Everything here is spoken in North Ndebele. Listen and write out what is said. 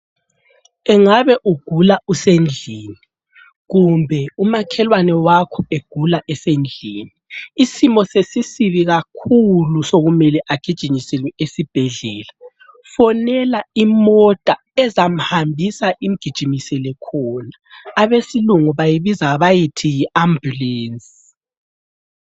Engabe ugula usendlini, kumbe umakhelwane wakho egula esendlini isimo sesisibi kakhulu sokumele agijinyiselwe esibhedlela ,fonela imota ezamhambisa imgijimisele khona ,abesilungu bayibiza bayithi yi ambulance